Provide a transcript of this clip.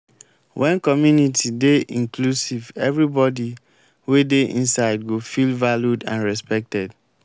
when community dey inclusive everybody wey de inside go feel valued and respected